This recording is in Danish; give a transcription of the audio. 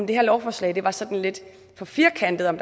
det her lovforslag var sådan lidt for firkantet og